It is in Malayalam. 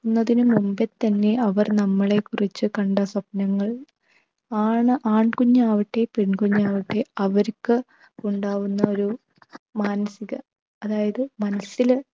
ക്കുന്നതിന് മുൻപേ തന്നെ അവർ നമ്മളെക്കുറിച്ച കണ്ട സ്വപ്‌നങ്ങൾ ആണ് ആൺകുഞ്ഞാവട്ടെ പെൺ കുഞ്ഞാവട്ടെ അവർക്ക് ഉണ്ടാകുന്ന ഒരു മാനസിക അതായത് മനസില്